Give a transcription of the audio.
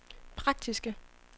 praktiske